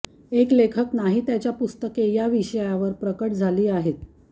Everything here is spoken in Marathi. एक लेखक नाही त्याच्या पुस्तके या विषयावर प्रकट झाली आहेत